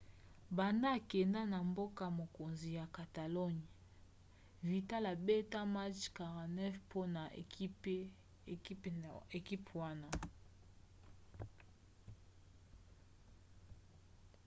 banda akenda na mboka-mokonzi ya catalogne vidal abeta match 49 mpona ekipe wana